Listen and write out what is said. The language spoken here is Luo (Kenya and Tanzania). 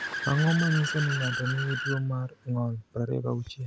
Ang’o ma nyiso ni ng’ato nigi tuwo mar ng’ol 26?